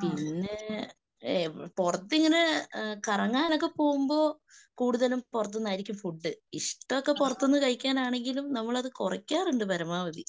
പിന്നേ പുറത്തിങ്ങനെ കറങ്ങാനൊക്കെ പോകുമ്പോ കൂടുതലും പുറത്തുനിന്നായിരിക്കും ഫുഡ്. ഇഷ്ടമൊക്കെ പുറത്തുനിന്ന് കഴിക്കാനാണെങ്കിലും നമ്മളത് കുറക്കാറുണ്ട് പരമാവതി.